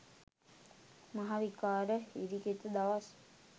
මහ විකාර හිරිකිත දවස්.